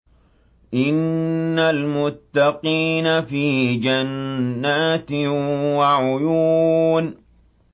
إِنَّ الْمُتَّقِينَ فِي جَنَّاتٍ وَعُيُونٍ